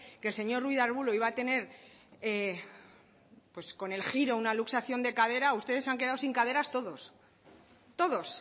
que el señor ruiz de arbulo iba a tener pues con el giro una luxación de cadera ustedes se han quedado sin caderas todos todos